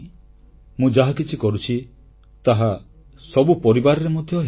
ମୁଁ ଯାହା କିଛି କରୁଛି ତାହା ସବୁ ପରିବାରରେ ମଧ୍ୟ ହେଉଥିବ